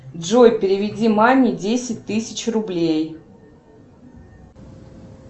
джой переведи маме десять тысяч рублей